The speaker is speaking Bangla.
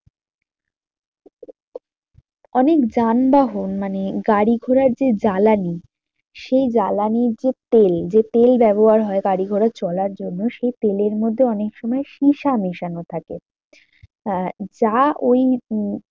অনেক যানবাহন মানে গাড়ি ঘোড়ার যে জ্বালানি। সেই জ্বালানির যে তেল যে তেল ব্যবহার হয় গাড়ি ঘোড়া চলার জন্য সেই তেলের মধ্যে অনেক সময় সীসা মেশানো থাকে আহ যা ওই উম